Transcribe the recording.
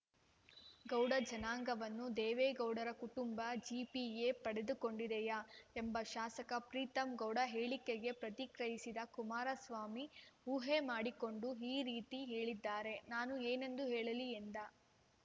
ಗೌಡ ಜನಾಂಗವನ್ನು ದೇವೇಗೌಡರ ಕುಟುಂಬ ಜಿಪಿಎ ಪಡೆದು ಕೊಂಡಿದೆಯಾ ಎಂಬ ಶಾಸಕ ಪ್ರೀತಮ್‌ಗೌಡ ಹೇಳಿಕೆಗೆ ಪ್ರತಿಕ್ರಿಯಿಸಿದ ಕುಮಾರಸ್ವಾಮಿ ಊಹೆ ಮಾಡಿಕೊಂಡು ಈ ರೀತಿ ಹೇಳಿದರೆ ನಾನು ಏನೆಂದು ಹೇಳಲಿ ಎಂದ